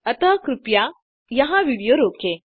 अतः कृपया यहाँ विडियो रोकें